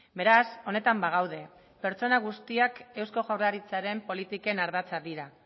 beraz honetan bagaude pertsona guztiak eusko jaurlaritzaren politiken ardatza dira